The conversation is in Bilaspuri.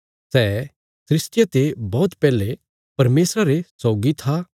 सै सृष्टिया ते बौहत पैहले परमेशरा रे सौगी था